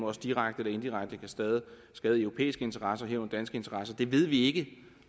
også direkte eller indirekte kan skade europæiske interesser herunder danske interesser det ved vi ikke